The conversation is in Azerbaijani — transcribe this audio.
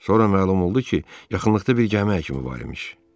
Sonra məlum oldu ki, yaxınlıqda bir gəmi həkimi var imiş.